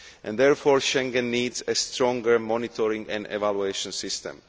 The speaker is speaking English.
Therefore Schengen needs a stronger monitoring and evaluation system.